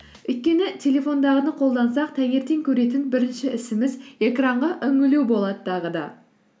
өйткені телефондағыны қолдансақ таңертең көретін бірінші ісіміз экранға үңілу болады тағы да